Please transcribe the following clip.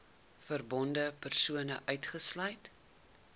verbonde persone uitgesluit